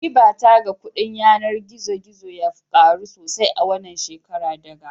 Ribata ga kudin yanar gizo gizo ya karu sosai a wannan shekara daga